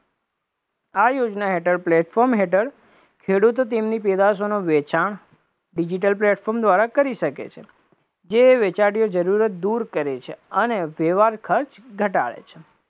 આ યોજના હેઠળ platform હેઠળ ખેડૂતો તેમની પેદાશોનું વેચાણ digital platform દ્વારા કરી શકે છે, જે વેચાર્ય જરૂરત દૂર કરે છે, વ્યવહાર ખર્ચ ઘટાડે છે,